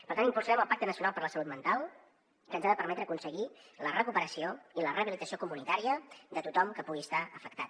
per tant impulsarem el pacte nacional per la salut mental que ens ha de permetre aconseguir la recuperació i la rehabilitació comunitària de tothom que pugui estar afectat